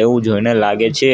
એવું જોઈને લાગે છે.